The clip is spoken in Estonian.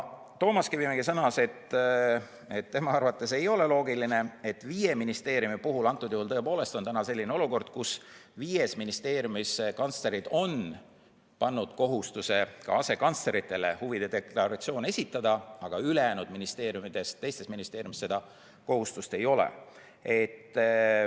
Toomas Kivimägi sõnas, et tema arvates ei ole loogiline, et tõepoolest on täna selline olukord, kus viies ministeeriumis kantslerid on pannud asekantsleritele kohustuse huvide deklaratsioon esitada, aga ülejäänud ministeeriumides seda kohustust ei ole.